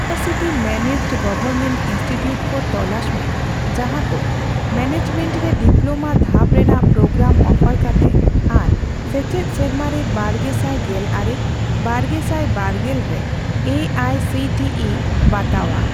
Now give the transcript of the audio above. University managed government institute ᱠᱚ ᱛᱚᱞᱟᱥ ᱢᱮ ᱡᱟᱦᱟᱠᱚ ᱢᱮᱱᱮᱡᱢᱮᱱᱴ ᱨᱮ ᱰᱤᱯᱞᱳᱢᱟ ᱫᱷᱟᱯ ᱨᱮᱱᱟᱜ ᱯᱨᱳᱜᱨᱟᱢ ᱚᱯᱷᱟᱨ ᱠᱟᱛᱮ ᱟᱨ ᱥᱮᱪᱮᱫ ᱥᱮᱨᱢᱟᱨᱮ ᱵᱟᱨᱜᱮᱥᱟᱭ ᱜᱮᱞ ᱟᱨᱮ ᱼ ᱵᱟᱨᱜᱮᱥᱟᱭ ᱵᱟᱨᱜᱮᱞ ᱨᱮ A I C T E ᱵᱟᱛᱟᱣᱟᱜ ᱾